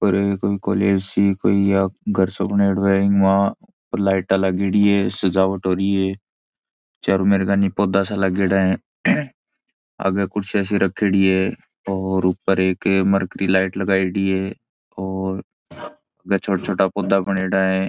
कोई कॉलेज सी कोई या घर सो बनेडो है ईमा लाइटा लागेड़ी है साजवट हो री है चारो मेर कानि पौधा सा लागेड़ा है आगे कुर्सीयां सी रखेड़ी है और ऊपर एक मर्करी लाइट लगायेड़ी है और छोटा छोटा पौधा बनेडा है।